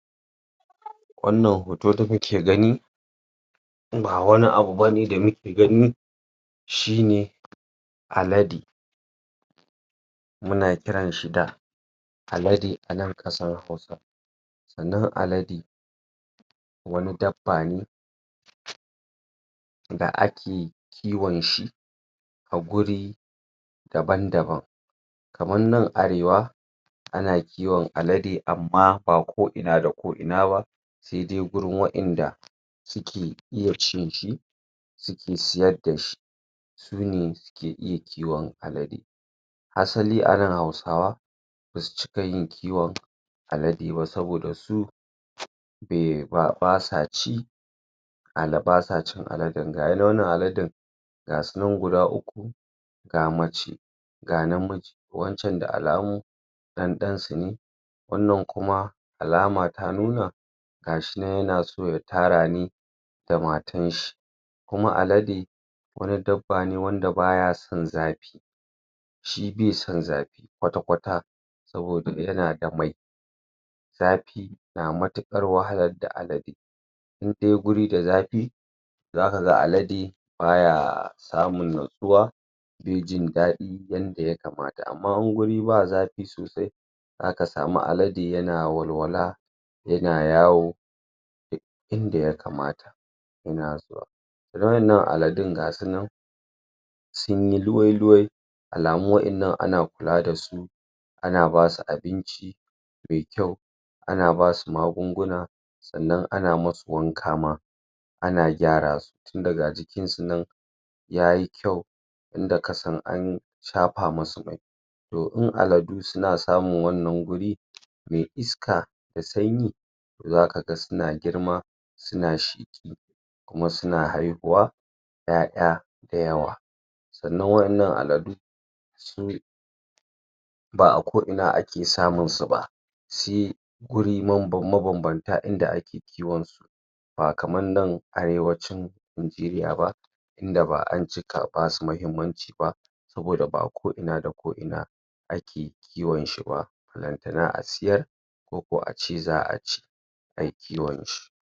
Wannan hoto da muke gani ba wani abu bane da muke gani shi ne alade muna kiran shi da alade anan kasar hausa alade wani dabba ne da ake kiwon shi a guri daban daban kaman nan arewa ana kiwon alade amma ba ko ina da ko ina saidai gurin wadanda suke iya cin shi suke siyar dashi sune suke kiwon alade asali anan hausawa suke cika yin kiwon alade ba saboda su ehh.. basa ci aza.. basa cin alade, gashi dai wannan aladan gasunan guda uku ga mace ga namiji wancan da alamu dan dansu ne wannan kuma alama ta nuna gashi nan yana so ya tara da matan shi kuma alade wani dabbab ne wand baya san zafi shi bai san zafi kwata kwata saboda yana da mai zafi na matukar wahala da? in dai guri da zafi, za kaga alade ba yaa samin nutsuwa bai ji dadi yanda ya kamata, amma inguri ba zafi sosai zaka sami alda yana walwala yana yawo duk inda ya kamata yana zuwa? nan aladun gasunan sunyi luwai-luwai alamun wadan nan ana kula dasu ana basu abinci mai kyau ana basu magunguna san nan ana musu wanka ma ana gyara su tunda gya jikin su nan yayi kyua inda kasan an shafa musu mai to in aladu suna samin wannan guri mai iska da sanyi za kaga sune girma suna sheki kuma suna haihuwa `ya`ya da yawwa san nan wadan nan aladu su ba a ko ina ake samu su ba shi guri manban maban banta inda ake kiwon su ba kaman nana arewacin nigeria ba inda ba an cika basu muhimmanci ba saboda ba a ko ina da ko ina ake kiwon shiba balantana a siyar ko ko ace za a ci a yi kiwon su